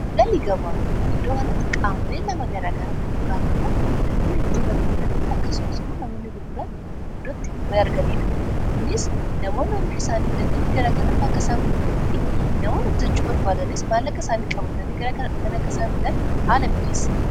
Giddu-galii gabaa. Iddoo kanatti qaamolee Nama garaa garaa yookaan immoo namoonni bituu barbaadanii akkasumas immoo namoonni gurguran iddoo itti wal arganiidha. Kunis namoonni oomisha isaanii fidatanii gara kanatti akka isaan gurguranii fi namoonni bitachuu barbaadanis maallaqa isaaniin qabatanii gara kana dhufanii akka isaan bitan haala mijeessa.